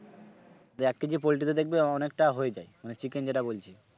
তো এক KG poultry তে দেখবে অনেকটা হয়ে যাই মানে chicken যেটা বলছি।